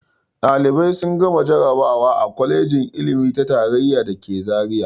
Ɗalibai sun gama jarabawa a kwalejin ilimi ta tarayya da ke Zariya.